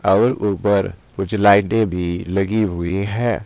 और ऊपर कुछ लाइटें भी लगी हुई है।